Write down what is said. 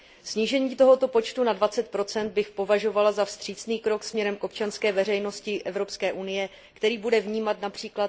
Snížení tohoto počtu na 20 bych považovala za vstřícný krok směrem k občanské veřejnosti Evropské unie, který bude vnímat např.